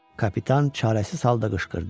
Kapitan çarəsiz halda qışqırdı: